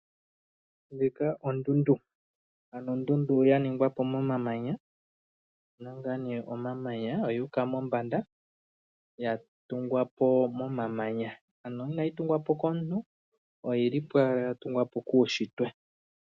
Ndjika ondundu! Ano ondundu yaningwa po momamanya yina ngaa nee omamanya oyuuka mombanda yatungwa po momamanya, ano inayi tungwa po komuntu oyili po ala yatungwa po kuushitwe.